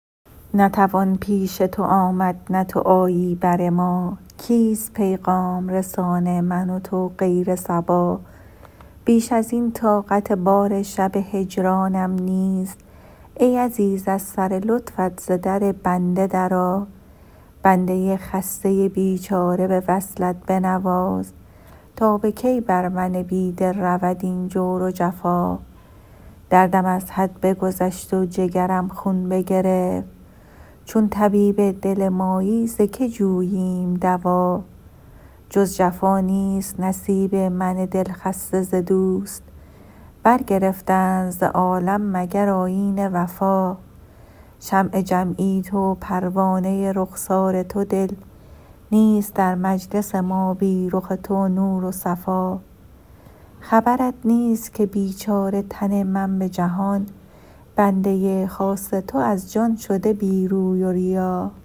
نه توان پیش تو آمد نه تو آیی بر ما کیست پیغام رسان من و تو غیر صبا بیش از این طاقت بار شب هجرانم نیست ای عزیز از سر لطفت ز در بنده درآ بنده خسته بیچاره به وصلت بنواز تا به کی بر من بی دل رود این جور و جفا دردم از حد بگذشت و جگرم خون بگرفت چون طبیب دل مایی ز که جوییم دوا جز جفا نیست نصیب من دل خسته ز دوست برگرفتند ز عالم مگر آیین وفا شمع جمعی تو و پروانه رخسار تو دل نیست در مجلس ما بی رخ تو نور و صفا خبرت نیست که بیچاره تن من به جهان بنده خاص تو از جان شده بی روی و ریا